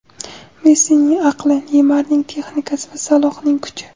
Messining aqli, Neymarning texnikasi va Salohning kuchi.